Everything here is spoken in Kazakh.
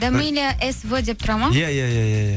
дамила эс в деп тұрады ма иә иә иә иә